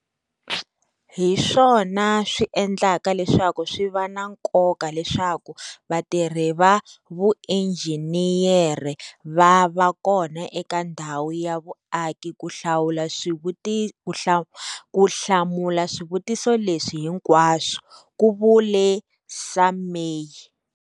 Hi swona swi endlaka leswaku swi va na nkoka leswaku vatirhi va vuinjhiniyere va va kona eka ndhawu ya vuaki ku hlamula swivutiso leswi hinkwaswo, ku vule Sumay.